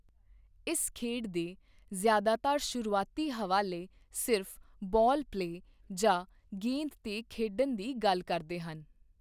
ਇਸ ਖੇਡ ਦੇ ਜ਼ਿਆਦਾਤਰ ਸ਼ੁਰੂਆਤੀ ਹਵਾਲੇ ਸਿਰਫ 'ਬਾਲ ਪਲੇ' ਜਾਂ 'ਗੇਂਦ 'ਤੇ ਖੇਡਣ' ਦੀ ਗੱਲ ਕਰਦੇ ਹਨ।